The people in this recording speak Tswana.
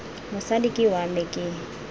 mosadi ke wa me ke